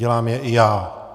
Dělám je i já.